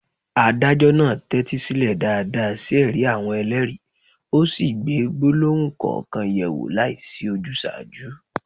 Adájọ́ náà tẹ́tí sílẹ̀ dáadáa sí ẹ̀rí àwọn ẹlẹ́rìí, ó sì gbé gbólóhùn kọ̀ọ̀kan yẹ̀ wò láìsí ojúsàájú.